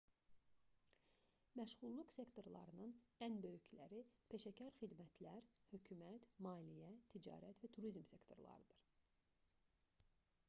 məşğulluq sektorlarının ən böyükləri peşəkar xidmətlər hökumət maliyyə ticarət və turizm sektorlarıdır